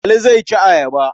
Ali zai ci ayaba.